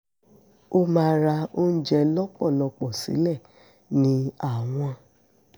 ó máa ra oúnjẹ lọ́pọ̀lọ́pọ̀ sílẹ̀ ní àwọn